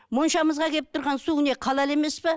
моншамызға келіп тұрған су не халал емес пе